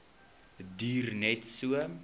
duur net so